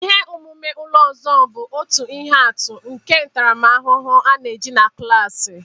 Ihe omume ụlọ ọzọ bụ otu ihe atụ nke ntaramahụhụ a na-eji na klaasị.